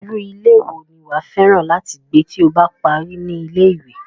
Irú ilé wo ni wàá fẹ́ràn láti gbé tí o bá parí ní ilé-ìwé?